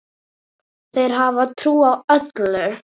Þeir hafa trú á öllu.